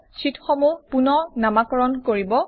শ্বিটসমূহ rename কৰিব